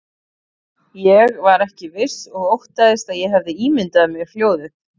Ég var ekki viss og óttaðist að ég hefði ímyndað mér hljóðið.